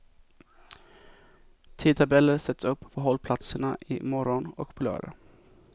Tidtabeller sätts upp på hållplatserna i morgon och på lördag.